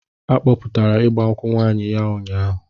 A kpọpụtara ịgba nkwụ nwaanyị ya ụnyaahụ.